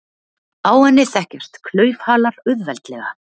Á henni þekkjast klaufhalar auðveldlega.